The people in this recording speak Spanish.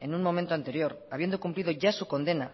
en un momento anterior habiendo cumplido ya su condena